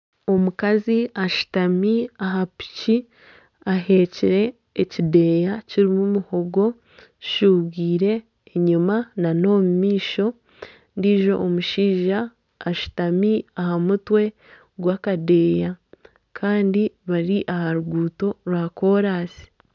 Omukazi ashutami aha piki aheekire ekideeya kirimu muhogo zishuubwiire enyuma nana omumaisho ondiijo omushaija ashutami aha mutwe gw'akadeeya Kandi bari aha ruguuto rwa kolansi.